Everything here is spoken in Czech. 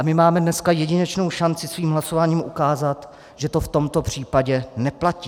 A my máme dneska jedinečnou šanci svým hlasováním ukázat, že to v tomto případě neplatí.